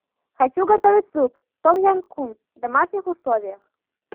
хочу готовить суп том ям кунг в домашних условиях